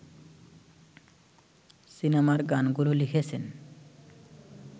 সিনেমার গানগুলো লিখেছেন